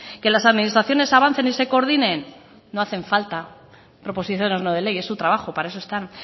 que las administraciones avancen y se coordinen no hacen falta proposiciones no de ley es su trabajo para eso están